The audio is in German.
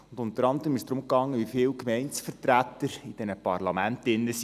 Unter anderem ging es darum, wie viele Gemeindevertreter in diesen Parlamenten sitzen.